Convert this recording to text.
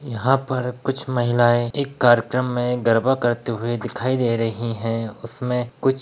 यहाँ पर कुछ महिलाये एक कार्यक्रम मे गरबा करते हुए दिखाई दे रही है उसमे कुछ --